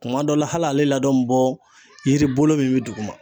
Kuma dɔ la hali ale ladon bi bɔ yiri bolo min be duguma